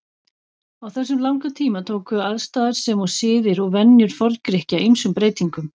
Á þessum langa tíma tóku aðstæður sem og siðir og venjur Forngrikkja ýmsum breytingum.